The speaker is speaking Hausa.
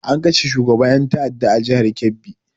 An kashe shugaban ƴan ta'adda a jihar kebbi.